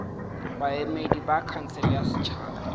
baemedi ba khansele ya setšhaba